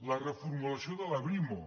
la reformulació de la brimo